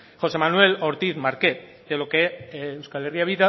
josé manuel ortiz márquez de lo que euskal herria